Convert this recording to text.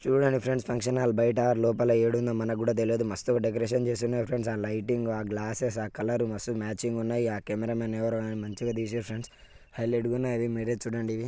చూడండి friends function hall బయట లోపల ఏడుందో మనకు కూడా తెలియదు మస్తు డెకరేషన్ చేసి ఉన్నారు ఫ్రెండ్స్ ఆ లైటింగ్ ఆ గ్లాస్సెస్ ఆ కలర్ మస్తు మాచింగ్ ఉన్నాయి ఆ కెమరామెన్ ఎవరో కానీ మంచిగా తీసిండు ఫ్రెండ్స్ హైలైట్ గా ఉన్నాయి మీరే చూడండి ఇవి.